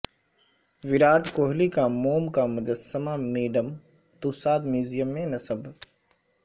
وراٹ کوہلی کا موم کا مجسمہ میڈم توساد میوزیم میں نصب